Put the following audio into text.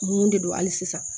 Mun de don hali sisan